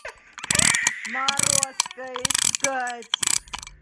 морозко искать